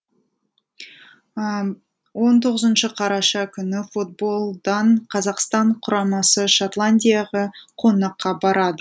он тоғызыншы қараша күні футболдан қазақстан құрамасы шотландияға қонаққа барады